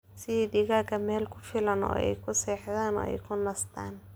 Sii digaagga meel ku filan oo ay ku seexdaan oo ay ku nastaan.